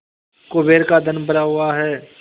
कुबेर का धन भरा हुआ है